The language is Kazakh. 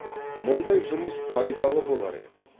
мұндай жұмыс пайдалы болар еді